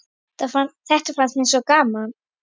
Þetta fannst mér sko gaman.